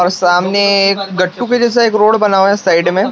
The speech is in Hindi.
और सामने गट्टू के जैसा एक रोड बना हुआ है साइड में।